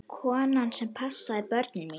Konan sem passaði börnin mín.